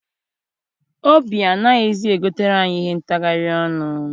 Obi anaghịzi egotere anyị ihe ntachari ọnụ.